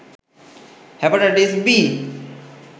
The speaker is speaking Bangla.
hepatitis B